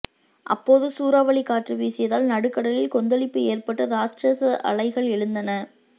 அப்போது சூறாவளி காற்று வீசியதால் நடுக்கடலில் கொந்தளிப்பு ஏற்பட்டு ராட்சத அலைகள் எழுந்தன